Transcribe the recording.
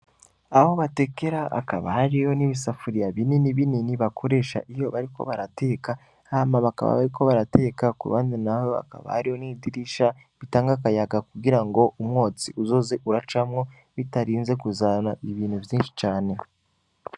Aho batekera ,akaba hariyo n'ibisafuriya binini binini bakoresha bariko barateka, hama bakaba bariko barateka, k'uruhande naho hakaba hariyo n'idirisha ritanga akayaga kugira umwotsi uzoze urajamwo, bitarinze kuzana ibintu vyinshi cane.